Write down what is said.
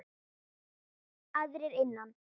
Aðrir innan